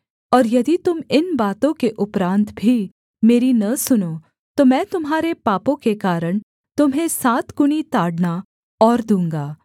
और यदि तुम इन बातों के उपरान्त भी मेरी न सुनो तो मैं तुम्हारे पापों के कारण तुम्हें सातगुना ताड़ना और दूँगा